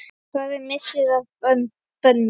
Það er missir að Bödda.